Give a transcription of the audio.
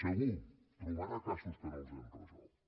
segur trobarà casos que no els hem resolt